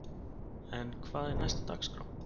En hvað er næst á dagskrá?